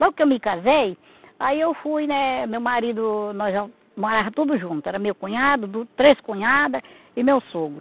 Logo que eu me casei, aí eu fui, né meu marido, nós já morava tudo junto, era meu cunhado, du três cunhada e meu sogro.